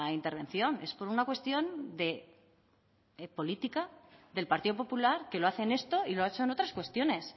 intervención es por una cuestión de política del partido popular que lo hace en esto y lo ha hecho en otras cuestiones